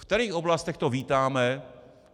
V kterých oblastech to vítáme?